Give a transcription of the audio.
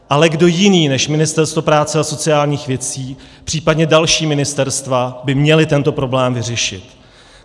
Ale kdo jiný než Ministerstvo práce a sociálních věcí, případně další ministerstva, by měl tento problém vyřešit.